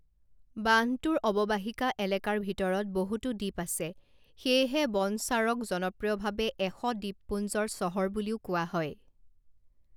বান্ধটোৰ অৱবাহিকা এলেকাৰ ভিতৰত বহুতো দ্বীপ আছে, সেয়েহে বনস্বাৰক জনপ্ৰিয়ভাৱে এশ দ্বীপপুঞ্জৰ চহৰ বুলিও কোৱা হয়।